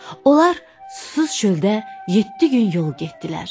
Onlar susuz çöldə yeddi gün yol getdilər.